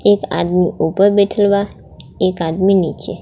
एक आदमी ऊपर बैठल बा एक आदमी नीचे.